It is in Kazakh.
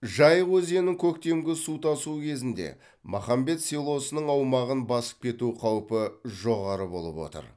жайық өзенінің көктемгі су тасу кезінде махамбет селосының аумағын басып кету қаупі жоғары болып отыр